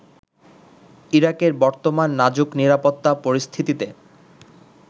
ইরাকের বর্তমান নাজুক নিরাপত্তা পরিস্থিতিতে